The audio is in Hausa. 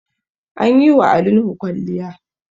An yi wa Ali Nuhu kwalliya